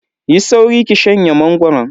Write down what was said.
Yi sauri ki shanye mangoron.